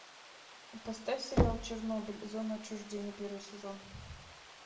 поставь сериал чернобыль зона отчуждения первый сезон